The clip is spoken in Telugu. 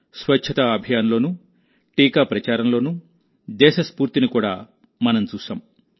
స్వచ్చతా అభియాన్ లోనూ టీకా ప్రచారంలోనూ దేశ స్ఫూర్తిని కూడా మనం చూశాం